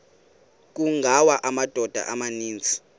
kungawa amadoda amaninzi